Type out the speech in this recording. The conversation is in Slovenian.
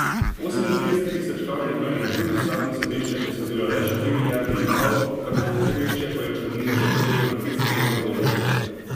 Osemintrideset tisoč tožnikom je na drugi stopnji sodišče prisodilo le še dve milijardi in pol, vrhovno sodišče pa je odškodnino zaokrožilo na petsto milijonov dolarjev.